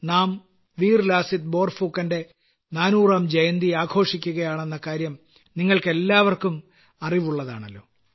നാ വീർ ലാസിത് ബോർഫുക്കന്റെ 400ാം ജയന്തി ആഘോഷിക്കുകയാണെന്ന കാര്യം നിങ്ങൾക്കെല്ലാം അറിവുള്ളതാണല്ലോ